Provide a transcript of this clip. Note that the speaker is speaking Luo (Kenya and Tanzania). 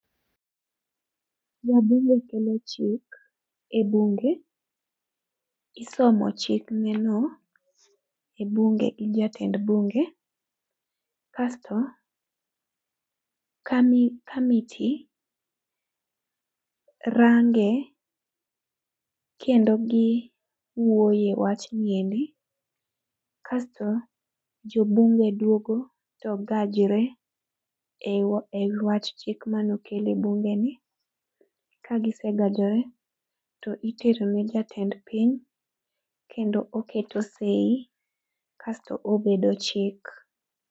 Wabunge kelo chik e bunge. Isomo chikgino e bunge gi jatend bunge. Kasto, kanitie ,range kendo giwuoye wachni endi. Kasto jobunge dwogo to gajre e wach chik mane okel e bunge ni. Kagisegajore, to itero ne jatend piny kendo oketo sei kasto obedo chik.